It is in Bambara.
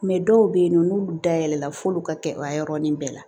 dɔw bɛ yen nɔ n'ulu dayɛlɛla f'olu ka kɛ o yɔrɔnin bɛɛ la